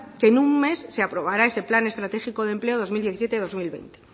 que en un mes se aprobará ese plan estratégico de empleo dos mil diecisiete dos mil veinte